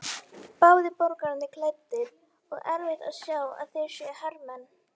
Báðir borgaralega klæddir og erfitt að sjá að þetta séu hermenn.